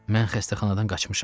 Mən xəstəxanadan qaçmışam.